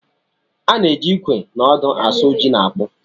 A na-eji ikwe na odo asụ ji na akpụ.